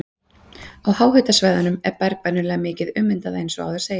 Á háhitasvæðunum er berg venjulega mikið ummyndað eins og áður segir.